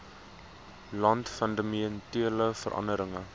land fundamentele veranderinge